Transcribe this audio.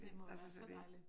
Det må være så dejligt